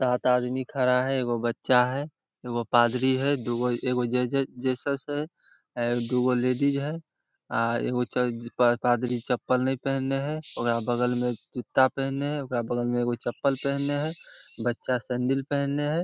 सात आदमी खड़ा है एगो बच्चा है एगो पादरी है दुगो एगो जेसेस जीसस है आ दुगो लेडीज है एगो चर्च पादरी चप्पल नहीं पेहेन है ओकरा बगल में जूता पेहने है ओकरा बगल में चप्पल पेहने है बच्चा सेंडिल पेहने है।